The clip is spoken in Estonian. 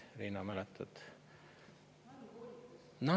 Riina, mäletad?